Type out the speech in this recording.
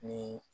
Ni